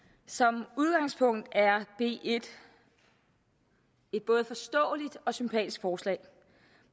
som udgangspunkt er det et både forståeligt og sympatisk forslag